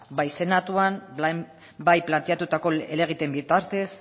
bai senatuan bai planteatutako helegiteen bitartez